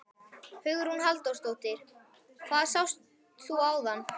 Hugrún Halldórsdóttir: Hvað sást þú áðan?